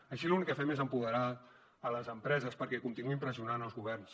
així l’únic que fem és empoderar les empreses perquè continuïn pressionant els governs